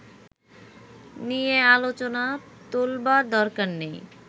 নিয়ে আলোচনা তোলবার দরকার নেই